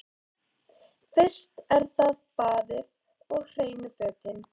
Fyrst er það baðið og hreinu fötin.